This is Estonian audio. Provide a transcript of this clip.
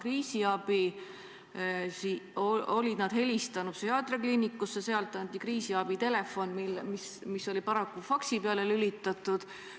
Nad olid helistanud psühhiaatriakliinikusse, sealt anti kriisiabi telefoninumber, aga see telefon oli paraku faksi peale lülitatud.